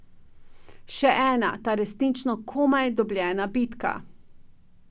Še ena, ta resnično komaj dobljena bitka.